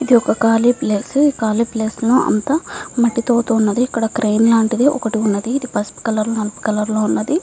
ఇది ఒక కాళీ ప్లేస్ మట్టి తో వుంది ఈ కాళీ సలాం లో క్రేన్ వుంది అ క్రేన్ పసుపు కలర్ నలుపు కలర్ లో వున్నది.